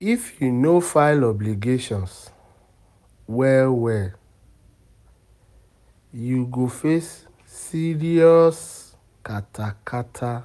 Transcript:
If yu no file obligations well well, yu go face serious kata kata